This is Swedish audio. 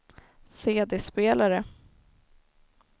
CD-spelare